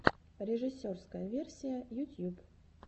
режиссерская версия ютьюб